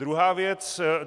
Druhá věc.